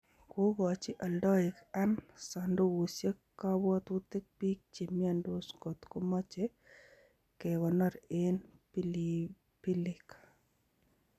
Kokochi aldaik an sandukusiek kapwotutik biik che miondos kot komache kekonor en pilipilik